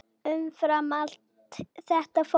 Umfram allt þetta fólk.